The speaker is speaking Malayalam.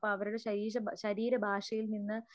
അപ്പോ അവരുടെ ശരീരഭാഷയിൽ നിന്ന്